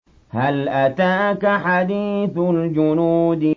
هَلْ أَتَاكَ حَدِيثُ الْجُنُودِ